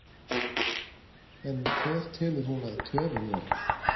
En hver telur hún að töfin verði?